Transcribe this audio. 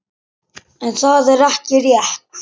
En það er ekki rétt.